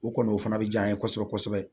O kɔni o fana be diya an ye kosɛbɛ kosɛbɛ